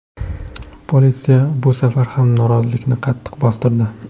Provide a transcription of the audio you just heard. Politsiya bu safar ham noroziliklarni qattiq bostirdi.